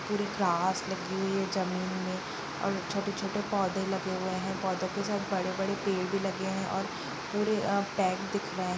थोड़ी घास लगी हुई है जमीन में और छोटे-छोटे पौधे लगे हुए हैं पौधे के साइड बड़े-बड़े पेड़ भी लगे हैं और थोड़े अ भी दिख रहे हैं।